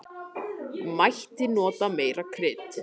Mætti nota meira krydd.